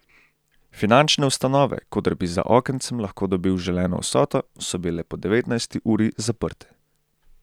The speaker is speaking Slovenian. Finančne ustanove, koder bi za okencem lahko dobil želeno vsoto, so bile po devetnajsti uri zaprte.